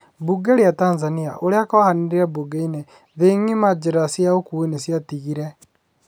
Bunge ria Tanzania, ũria kwahanire bungeni ,thĩĩ ngima njĩra cia ukũi nĩciatigire